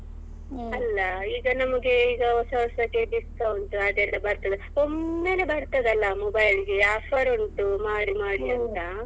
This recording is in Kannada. ಅಲ್ಲ ಈಗ ನಮಿಗೆ ಈಗ ಹೊಸ ಹೊಸಕ್ಕೆ discount ಅದೆಲ್ಲ ಬರ್ತದಲ್ವಾ ಒಮ್ಮೆಲೇ ಬರ್ತದಲ್ಲ mobile ಗೆ offer ಉಂಟು ಮಾಡಿ ಮಾಡಿ ಅಂತ.